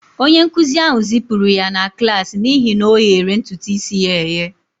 Onye nkụzi ahụ zipụrụ ya na klas n'ihi na ọ na-oyere ntutu isi ya eye